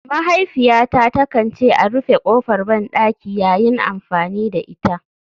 Mahaifiyata takan ce a rufe kofar bandaki yayin amfani da ita.